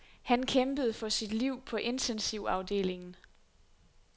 Han kæmpede for sit liv på intensivafdelingen.